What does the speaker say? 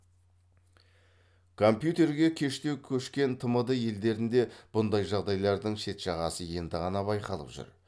компьютерге кештеу көшкен тмд елдерінде бұндай жағдайлардың шет жағасы енді ғана байқалып жүр